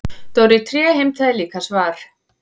Dóri tré heimtaði líka svar.